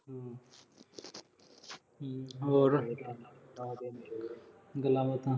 ਹੋਰ ਗੱਲਾਂ ਬਾਤਾਂ।